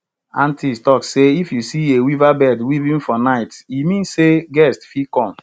aunties talk say if you see a weaverbird weaving for night e mean sey guest fit come